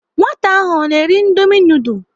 Nwata ahụ ọ ná-eri indomi nudul?